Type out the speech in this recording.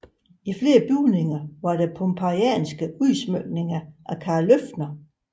I flere bygninger var der pompeijanske udsmykninger af Carl Løffler